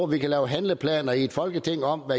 vi kan lave handleplaner i et folketing om